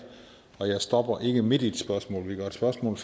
jeg stopper ikke midt i et spørgsmål vi gør et spørgsmål